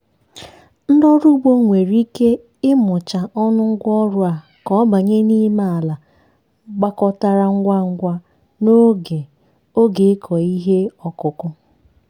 ndị ọrụ ugbo nwere ike ịmụcha ọnụ ngwa ọrụ a ka ọ banye n'ime ala gbakọtara ngwa ngwa n'oge oge ịkọ ihe ọkụkụ.